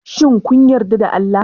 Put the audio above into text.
Shin kun yarda da Allah?